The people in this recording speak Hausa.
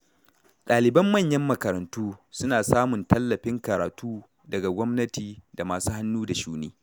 Ɗaliban manyan makarantu suna samun tallafin karatu daga gwamnati da masu hannu da shuni.